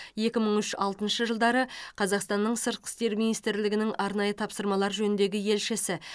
екі мың үш алтыншы жылдары қазақстанның сыртқы істер министрлігінің арнайы тапсырмалар жөніндегі елшісі